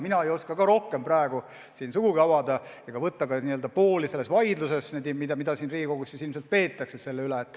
Mina ei oska rohkem praegu siin seda probleemi avada ega ka võtta pooli selles vaidluses, mis siin Riigikogus on puhkenud.